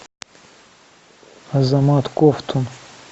азамат ковтун